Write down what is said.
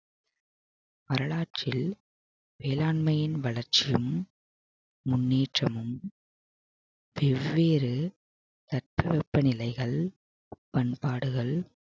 வரலாற்றில் வேளாண்மையின் வளர்ச்சியும் முன்னேற்றமும் வெவ்வேறு தட்பவெப்ப நிலைகள் பண்பாடுகள்